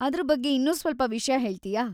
ಅದ್ರ ಬಗ್ಗೆ ಇನ್ನೂ ಸ್ವಲ್ಪ ವಿಷ್ಯ ಹೇಳ್ತೀಯಾ?